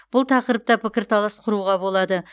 бұл тақырыпта пікірталас құруға болады